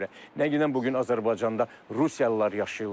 Nə qədən bu gün Azərbaycanda rusiyalılar yaşayırlar.